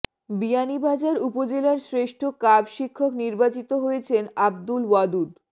বিয়ানীবাজার উপজেলার শ্রেষ্ঠ কাব শিক্ষক নির্বাচিত হয়েছেন আব্দুল ওয়াদুদ